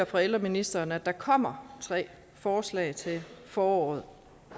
fra ældreministeren at der kommer tre forslag til foråret